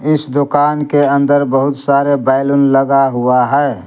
इस दुकान के अंदर बहुत सारे बैलून लगा हुआ है।